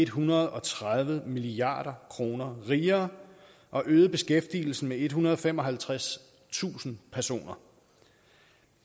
hundrede og tredive milliard kroner rigere og øget beskæftigelsen med ethundrede og femoghalvtredstusind personer